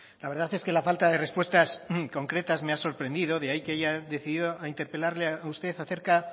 la verdad es que la falta de respuestas concretas me ha sorprendido de ahí que haya decidido a interpelarle a usted acerca